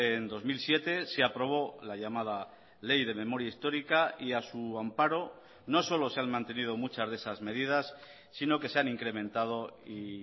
en dos mil siete se aprobó la llamada ley de memoria histórica y a su amparo no solo se han mantenido muchas de esas medidas sino que se han incrementado y